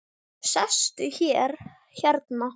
Sestu hérna.